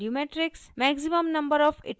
maximum number of iterations और